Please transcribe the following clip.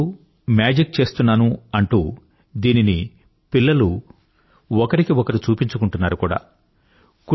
అప్పుడప్పుడు మేజిక్ చేస్తున్నాను అంటూ దీనిని పిల్లలు ఒకరికి ఒకరు చూపించుకుంటున్నారు కూడా